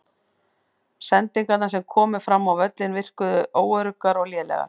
Sendingarnar sem komu fram á völlinn virkuðu óöruggar og lélegar.